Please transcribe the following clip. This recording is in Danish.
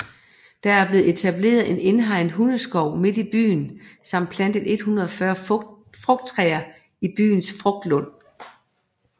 Der er blevet etableret en indhegnet hundeskov midt i byen samt plantet 140 frugttræer i byens frugtlund